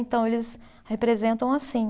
Então eles representam assim.